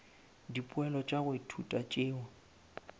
dipoelo tša go ithuta tšeo